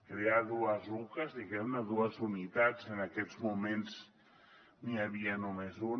crear dues ucas diguem ne dues unitats en aquests moments n’hi havia només una